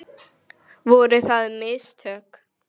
Voru það mistök?